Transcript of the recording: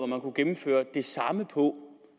man kunne gennemføre det samme på